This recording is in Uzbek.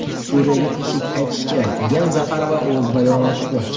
Suriyaga tinchlik qaytishi kerak”, degan Zaxarova o‘z bayonotida.